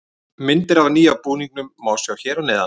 Myndir af nýja búningnum má sjá hér að neðan.